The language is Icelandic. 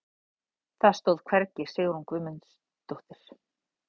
Það stóð hvergi Sigrún Guðmundsdóttir.